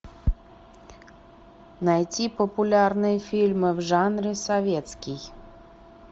найти популярные фильмы в жанре советский